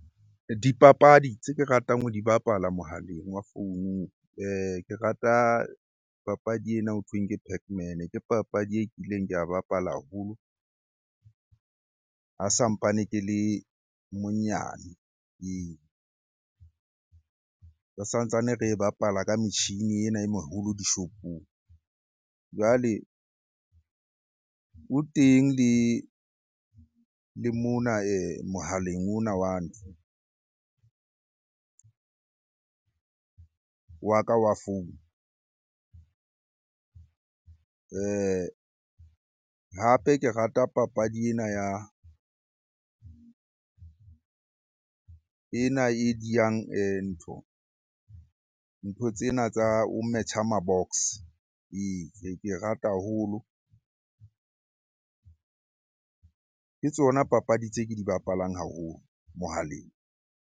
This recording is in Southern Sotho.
Dipapadi tse ke ratang ho di bapala mohaleng wa founung ke rata papadi ena hothweng ke pac man. Ke papadi e kileng ka e bapala haholo ha sa mpane ke le monyane. Ee, re sa ntsane re e bapala ka metjhini ena e moholo dishopong. Jwale o teng le mona mohaleng ona wa wa ka wa founu. Hape ke rata papadi ena ya, ena e diyang ntlo. Ntho tsena tsa ho metjha ma box ee. Ke e rata haholo, ke tsona papadi tse ke di bapalang haholo mohaleng.